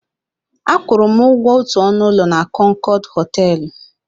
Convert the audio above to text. A kwụrụ ụgwọ otu ọnụ ụlọ na Kọnkọd họtelụ.